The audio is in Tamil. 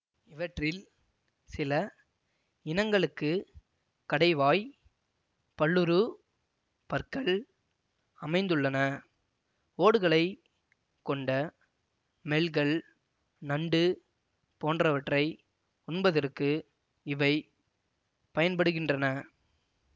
இவற்றில் சில இனங்களுக்கு கடைவாய் பல்லுருப் பற்கள் அமைந்துள்ளன ஓடுகளைக் கொண்ட மெல்கள் நண்டு போன்றவற்றை உண்பதற்கு இவை பயன்படுகின்றன